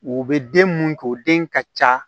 U bɛ den mun k'o den ka ca